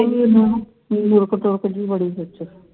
ਰੋਕ ਤੋਕ ਜੀ ਬੜੀ ਹੈ church ਚ